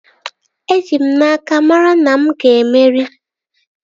Eji m n'aka, mara na mụ ga-emeri